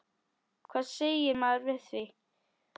Hvað segir maður við því?